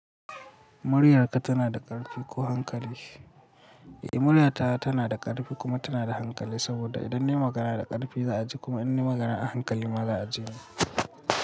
Muryarka tana da ƙarfi ko hankali? Eh murya ta tana da ƙarfi kuma tana da hankali. Saboda idan ni magana da ƙarfi za a ji kuma in ni magana a hankali ma za a ji ni.